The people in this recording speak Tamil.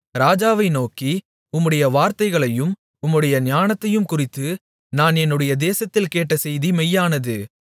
ராஜாவை நோக்கி உம்முடைய வார்த்தைகளையும் உம்முடைய ஞானத்தையும் குறித்து நான் என்னுடைய தேசத்தில் கேட்ட செய்தி மெய்யானது